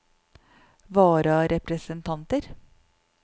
vararepresentanter